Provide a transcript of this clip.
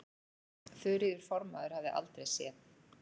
Þuríður formaður hafði aldrei séð